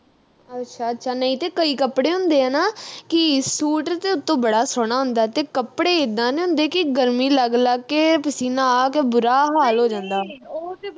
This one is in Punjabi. ਅੱਛਾ ਅੱਛਾ ਨਹੀਂ ਤੇ ਕਈ ਕੱਪੜੇ ਹੁੰਦੇ ਆ ਨਾ ਕਿ ਸੂਟ ਤੇ ਉਤੋਂ ਬੜਾ ਸੋਹਣਾ ਹੁੰਦਾ ਤੇ ਕੱਪੜੇ ਇੱਦਾ ਦੇ ਹੁੰਦੇ ਕਿ ਗਰਮੀ ਲੱਗ ਲੱਗ ਕੇ ਪਸੀਨਾ ਆ ਕੇ ਬੁਰਾ ਹਾਲ ਹੋ ਜਾਂਦਾ